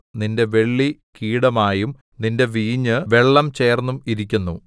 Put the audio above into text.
നിന്റെ വെള്ളി കീടമായും നിന്റെ വീഞ്ഞു വെള്ളം ചേർന്നും ഇരിക്കുന്നു